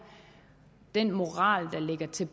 den moral der ligger til